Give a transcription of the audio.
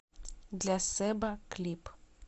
для сэба клип